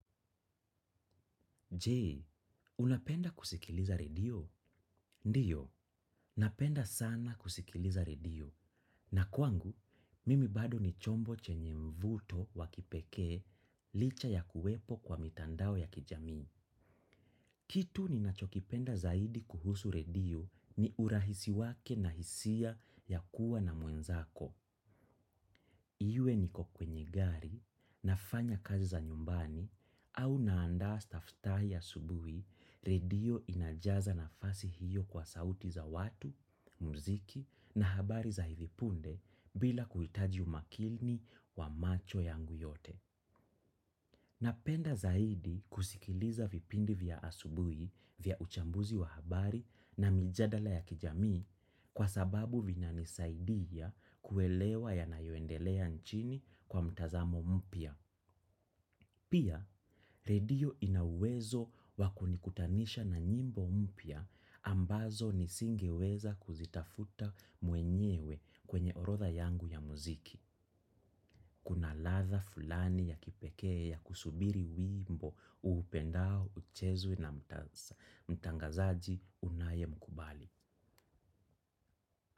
Je, unapenda kusikiliza redio? Ndiyo, napenda sana kusikiliza redio. Na kwangu, mimi bado ni chombo chenye mvuto wa kipekee licha ya kuwepo kwa mitandao ya kijamii. Kitu ninachokipenda zaidi kuhusu redio ni urahisi wake na hisia yakuwa na mwenzako. Iwe niko kwenye gari, nafanya kazi za nyumbani au naandaa staftahi asubuhi redio inajaza nafasi hiyo kwa sauti za watu, muziki na habari za hivi punde bila kuhitaji umakini wa macho yangu yote. Napenda zaidi kusikiliza vipindi vya asubuhi vya uchambuzi wa habari na mijadala ya kijamii kwa sababu vinanisaidia kuelewa yanayoendelea nchini kwa mtazamo mpya. Pia, redio ina uwezo wa kunikutanisha na nyimbo mpya ambazo nisingeweza kuzitafuta mwenyewe kwenye orodha yangu ya muziki. Kuna ladha fulani ya kipekee ya kusubiri wimbo uupendao uchezwe na mtangazaji unayemkubali.